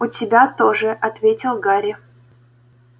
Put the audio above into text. у тебя тоже ответил гарри